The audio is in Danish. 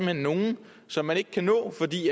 er nogle som man ikke kan nå fordi